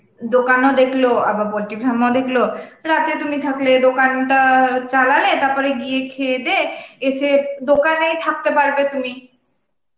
দোকানও দেখলো আবার poultry farm ও দেখল, রাতে তুমি থাকলে, দোকানটা চালালে তারপরে গিয়ে খেয়ে দেয়ে, এসে দোকানেই থাকতে পারবে তুমি